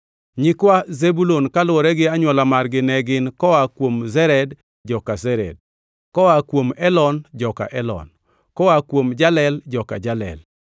Nyikwa Zebulun kaluwore gi anywola margi ne gin: koa kuom Sered, joka Sered; koa kuom Elon, joka Elon; koa kuom Jalel, joka Jalel.